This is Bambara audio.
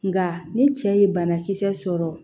Nka ni cɛ ye banakisɛ sɔrɔ